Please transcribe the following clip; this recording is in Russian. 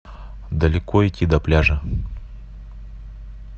далеко идти до пляжа